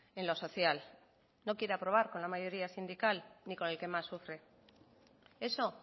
en lo social no quiere aprobar con la mayoría sindical ni con el que más sufre eso